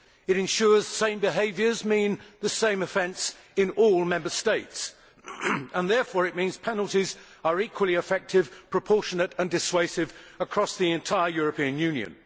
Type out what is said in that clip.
It ensures that the same behaviour means the same offence in all Member States and therefore means that penalties are equally effective, proportionate and dissuasive across the entire European Union.